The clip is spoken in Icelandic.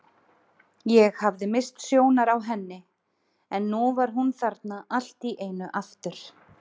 Ég hafði misst sjónar á henni en nú var hún þarna allt í einu aftur.